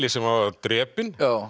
sem var drepinn